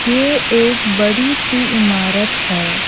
ये एक बड़ी सी इमारत है।